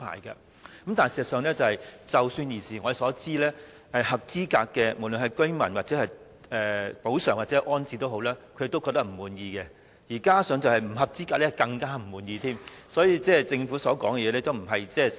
然而，據我們所知，當局對合資格居民提供的補償或安置，居民均表示不滿意，至於不合資格居民就更為不滿，所以政府說的並非事實。